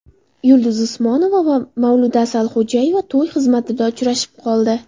Yulduz Usmonova va Mavluda Asalxo‘jayeva to‘y xizmatida uchrashib qoldi.